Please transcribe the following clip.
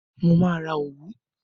Mo máa ra òwú.